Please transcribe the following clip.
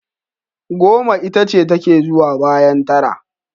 Goma itace take zuwa bayan tara.